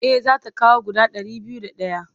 Eh za ta kawo guda ɗari biyu da ɗaya.